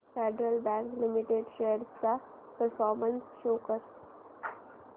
federal Bank Limited shares चा performance show कर